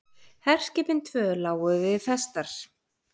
Herskipin tvö lágu við festar.